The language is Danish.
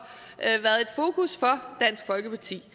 dansk folkeparti